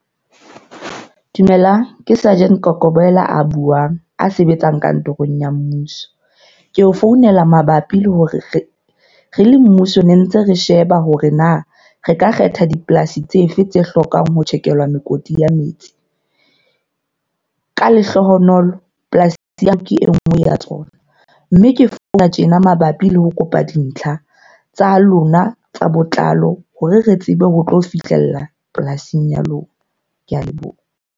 Dumelang ke surgeon Kokobela a buang, a sebetsang kantorong ya mmuso. Ke o founela mabapi le hore re le mmuso ne ntse re sheba hore na re ka kgetha dipolasi tsefe tse hlokang ho tjhekelwa mekoti ya metsi. Ka lehlohonolo polasi ke e nngwe ya tsona. Mme ke founa tjena mabapi le ho kopa dintlha tsa lona tsa botlalo. Hore re tsebe ho tlo fihlella polasing ya lona. Ke a leboha.